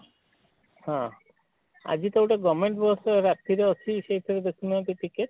ହଁ ଆଜି ତ ଗୋଟେ govement ବସ ରାତି ରେ ଅଛି ସେଇ ଥିରେ ଦେଖୁ ନାହାନ୍ତି ଟିକେ?